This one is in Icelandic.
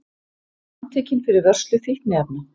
Handtekinn fyrir vörslu fíkniefna